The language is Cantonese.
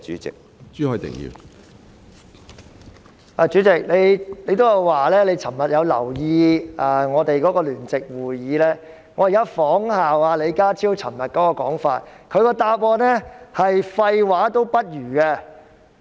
主席，你提到你亦有留意我們昨天舉行的聯席會議，我現在仿效李家超昨天的說法：他的主體答覆連廢話也不如。